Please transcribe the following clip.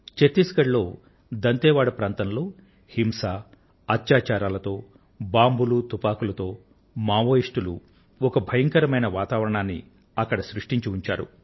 ఛత్తీస్ గఢ్ లోని దంతేవాడ ప్రాంతంలో హింస అత్యాచారాలతో బాంబులు తుపాకులతో మావోయిస్టులు ఒక భయంకరమైన వాతావరణాన్ని అక్కడ సృష్టించి ఉంచారు